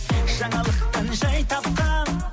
жаңалықтан жай тапқан